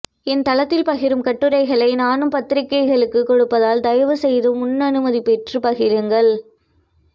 என் தளத்தில் பகிரும் கட்டுரைகளை நானும் பத்திரிகைகளுக்குக் கொடுப்பதால் தயவு செய்து முன் அனுமதி பெற்றுப் பகிருங்கள்